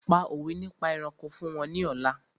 Pa òwé nípa ẹranko fún wọn ní ọ̀la!